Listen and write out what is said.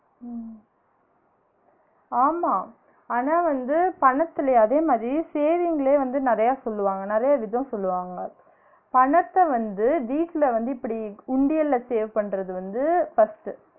உம் ஆமா ஆனா வந்து பணத்துல அதுவும் அதே saving லே வந்து நெறையா சொல்வாங்க நிறைய விதம் சொல்வாங்க, பணத்த வந்து வீட்ல வந்து இப்டி உண்டியல்ல save பண்ணுறது வந்து first உ